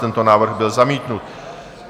Tento návrh byl zamítnut.